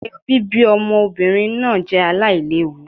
eyo bibi ọmọ obinrin ma je ailewu